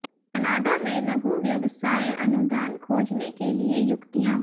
Canada में लघु व्यवसाय अनुदान खोजने के लिए युक्तियाँ